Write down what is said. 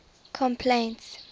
complaints